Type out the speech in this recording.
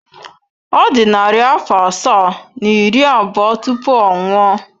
Ọ dị narị afọ asaa na iri abụọ tupu ọ nwụọ.